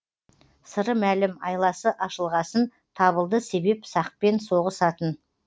сыры мәлім айласы ашылғасын табылды себеп сақпен соғысатын